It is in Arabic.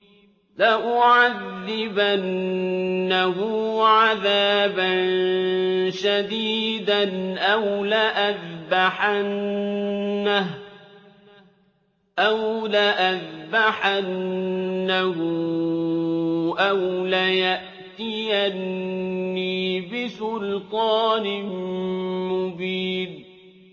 لَأُعَذِّبَنَّهُ عَذَابًا شَدِيدًا أَوْ لَأَذْبَحَنَّهُ أَوْ لَيَأْتِيَنِّي بِسُلْطَانٍ مُّبِينٍ